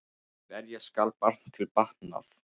Berja skal barn til batnaðar.